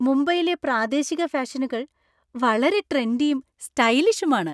മുംബൈയിലെ പ്രാദേശിക ഫാഷനുകൾ വളരെ ട്രെൻഡിയും സ്റ്റൈലിഷുമാണ്.